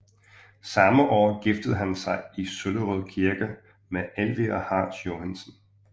Samme år giftede han sig i Søllerød Kirke med Elvira Hartz Johansen